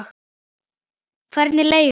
Hvernig er leigan?